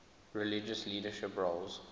religious leadership roles